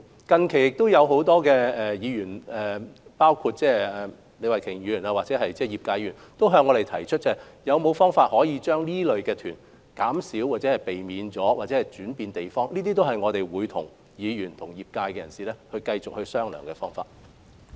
近期，很多議員，包括李慧琼議員或業界的議員，也曾向我們提出可否減少或避免這類入境旅行團，或把旅客分流到其他地方，這些都是我們會與議員及業界人士繼續商討的方向。